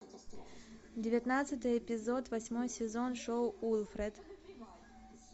девятнадцатый эпизод восьмой сезон шоу уилфред